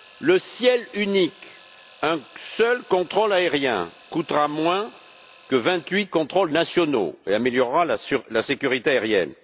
Le ciel unique un seul contrôle aérien coûtera moins que vingt huit contrôles nationaux et améliorera la sécurité aérienne.